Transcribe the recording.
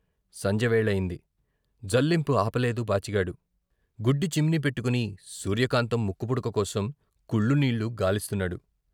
సంజె వేళయింది. జల్లింపు ఆపలేదు బాచిగాడు గుడ్డి చిమ్నీ పెట్టుకుని సూర్యకాంతం ముక్కుపుడక కోసం కుళ్లు నీళ్లు గాలిస్తున్నాడు.